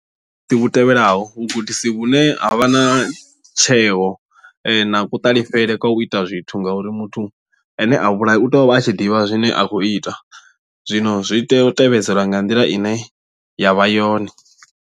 Vhu tevhelaho vhugudisi vhune ha vha na tsheo na kuṱalifhele kwa u ita zwithu ngauri muthu ane a vhulaya u tea u vha a tshi ḓivha zwine a khou ita zwino zwi tea u tevhedzelwa nga nḓila ine yavha yone.